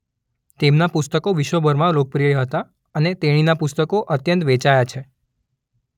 તેમનાં પુસ્તકો વિશ્વભરમાં લોકપ્રિય હતાં અને તેણીના પુસ્તકો અત્યંત વેચાયા છે.